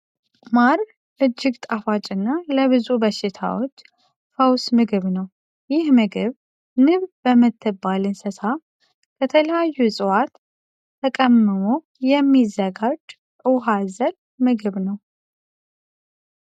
ማር እጅግ ጣፋጭ እና ለብዙ በሽታዎች ፈውስ ምግብ ነው። ይህ ምግብ ንብ በምትባል እንስሳ ከተለያዩ እፅዋት ተቀምሞ የሚዘጋጅ ውሃ አዘል ምግብ ነው።